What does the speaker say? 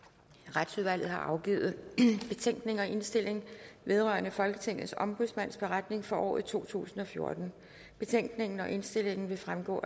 retsudvalget har afgivet betænkning og indstilling vedrørende folketingets ombudsmands beretning for året totusinde og fjortende betænkningen og indstillingen vil fremgå